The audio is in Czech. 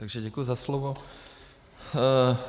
Takže děkuji za slovo.